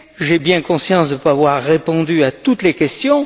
J'ai bien conscience de ne pas avoir répondu à toutes les questions.